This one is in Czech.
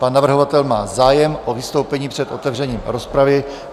Pan navrhovatel má zájem o vystoupení před otevřením rozpravy.